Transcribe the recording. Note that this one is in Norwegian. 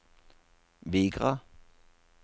Vigra